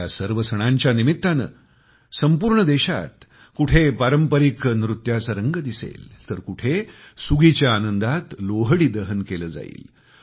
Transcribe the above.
ह्या सर्व सणांच्या निमित्ताने सानौर्ण देशात कुठे पारंपारिक नृत्यांचा रंग दिसेल तर कुठे सुगीच्या आनंदात लोहडी दहन केलं जाईल